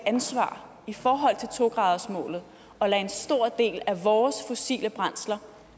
ansvar i forhold til to gradersmålet og lade en stor del af vores fossile brændsler